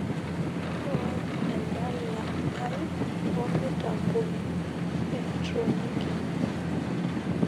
nuaa edala aii tomitamboni eetronik